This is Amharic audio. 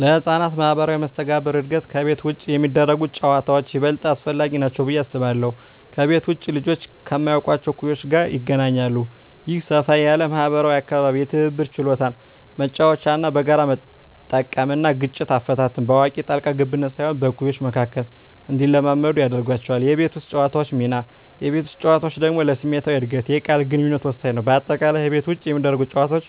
ለሕፃናት ማኅበራዊ መስተጋብር እድገት ከቤት ውጭ የሚደረጉ ጨዋታዎች ይበልጥ አስፈላጊ ናቸው ብዬ አስባለሁ። ከቤት ውጭ ልጆች ከማያውቋቸው እኩዮች ጋር ይገናኛሉ። ይህ ሰፋ ያለ ማኅበራዊ አካባቢ የትብብር ችሎታን (መጫወቻዎችን በጋራ መጠቀም) እና ግጭት አፈታትን (በአዋቂ ጣልቃ ገብነት ሳይሆን በእኩዮች መካከል) እንዲለማመዱ ያደርጋቸዋል። የቤት ውስጥ ጨዋታዎች ሚና: የቤት ውስጥ ጨዋታዎች ደግሞ ለስሜታዊ እድገትና የቃል ግንኙነት ወሳኝ ናቸው። በአጠቃላይ፣ ከቤት ውጭ የሚደረጉ ጨዋታዎች